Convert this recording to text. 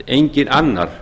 enginn annar